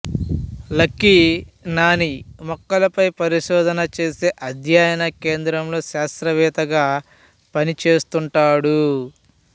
lucky Nani మొక్కలపై పరిశోధన చేసే అధ్యయన కేంద్రంలో శాస్త్రవేత్తగా పనిచేస్తుంటాడు